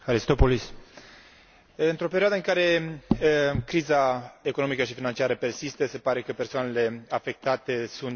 Într o perioadă în care criza economică și financiară persistă, se pare că persoanele afectate sunt și cele vulnerabile.